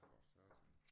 For satan